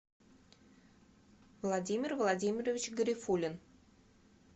владимир владимирович гарифуллин